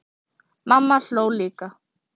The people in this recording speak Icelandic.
Mamma hló líka.